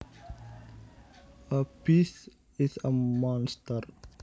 A beast is a monster